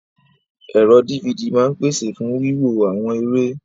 Ẹ̀rọ DVD máa ń pese fún wíwo àwọn eré.